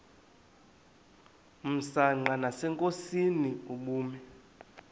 msanqa nasenkosini ubume